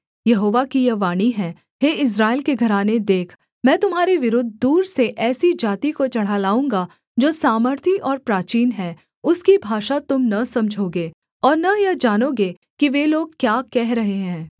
यहोवा की यह वाणी है हे इस्राएल के घराने देख मैं तुम्हारे विरुद्ध दूर से ऐसी जाति को चढ़ा लाऊँगा जो सामर्थी और प्राचीन है उसकी भाषा तुम न समझोगे और न यह जानोगे कि वे लोग क्या कह रहे हैं